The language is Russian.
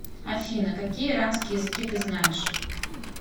афина какие иранские языки ты знаешь